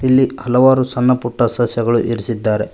ಇಲ್ಲಿ ಹಲವಾರು ಸಣ್ಣಪುಟ್ಟ ಸಸ್ಯಗಳು ಇರಿಸಿದ್ದಾರೆ.